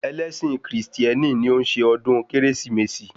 Ẹlẹ́sìn Krìstieni ni o n ṣe ọ̀dún kérésìmesì